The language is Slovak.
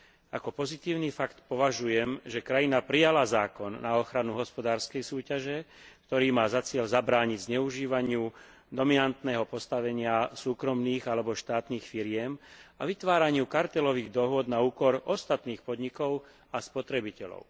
Za pozitívny fakt považujem, že krajina prijala zákon na ochranu hospodárskej súťaže, ktorý má za cieľ zabrániť zneužívaniu dominantného postavenia súkromných alebo štátnych firiem a vytváraniu kartelových dohôd na úkor ostatných podnikov a spotrebiteľov.